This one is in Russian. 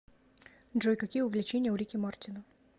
джой какие увлечения у рики мартина